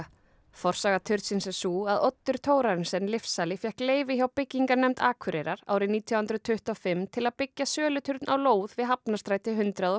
forsaga turnsins er sú að Oddur Thorarensen lyfsali fékk leyfi hjá byggingarnefnd Akureyrar árið nítján hundruð tuttugu og fimm til að byggja söluturn á lóð við Hafnarstræti hundrað og